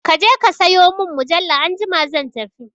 Kaje ka sayo mun mujalla anjima zan tafi